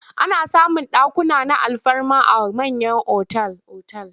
Ana samun dakuna na alfarma a mayan otal-otal.